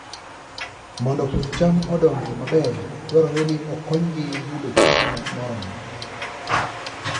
Mondo puoth cham odongi maber, dwarore ni okonygi yudo chiemo moromo.